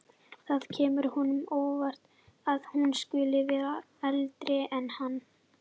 Það kemur honum á óvart að hún skuli vera eldri en hann.